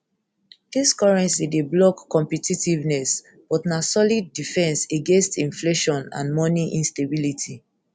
dis currency dey block competitiveness but na solid defence against inflation and money instability